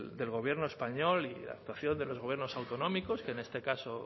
del gobierno español y la actuación los gobiernos autonómicos que en este caso